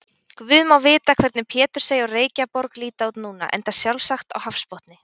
Guð má vita hvernig Pétursey og Reykjaborg líta út núna, enda sjálfsagt á hafsbotni.